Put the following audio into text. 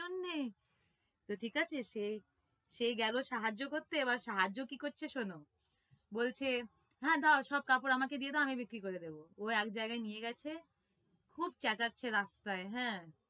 সামনে তো ঠিক আছে সেই সে গেলো সাহায্য করতে এবার সাহায্য কি করছে শোনো বলছে হ্যাঁ দাও সব কাপড় আমাকে দাও আমি বিক্রি করে দেব ও এক জায়গায় নিয়ে গেছে খুব চেচাচ্ছে রাস্তায় হ্যাঁ